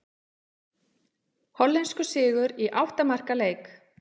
Hollenskur sigur í átta marka leik